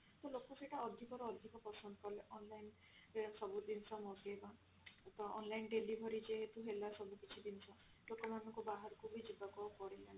ତ ଲୋକ ସେଇଟା ଅଧିକ ରୁ ଅଧିକ ପସନ୍ଦ କଲେ online ରେ ସବୁ ଜିନିଷ ମଗେଇବା ତ online delivery ଯେହେତୁ ହେଲା ସବୁ କିଛି ଜିନିଷ ଲୋକମାନଙ୍କୁ ବାହାରକୁ ବି ଯିବାକୁ ପଡିଲାନି